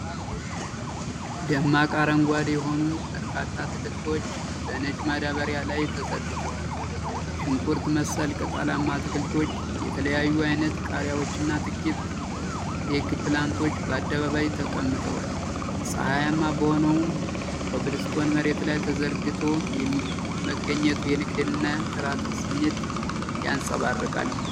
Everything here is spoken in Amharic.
ደማቅ አረንጓዴ የሆኑ በርካታ አትክልቶች በነጭ ማዳበሪያ ላይ ተዘርግተዋል። ሽንኩርት መሰል ቅጠላማ አትክልቶች፣ የተለያዩ ዓይነት ቃሪያዎችና ጥቂት ኤግፕላንቶች በአደባባይ ተቀምጠዋል። ፀሐያማ በሆነው ኮብልስቶን መሬት ላይ ተዘርግቶ መገኘቱ የንግድንና የጥራትን ስሜት ያንጸባርቃል።